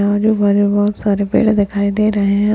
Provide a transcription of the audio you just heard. यहाँ जो बहुत सारे पेड़ दिखाई दे रहे हैं।